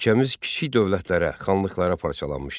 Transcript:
Ölkəmiz kiçik dövlətlərə, xanlıqlara parçalanmışdı.